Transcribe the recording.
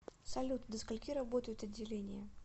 салют до скольки работают отделения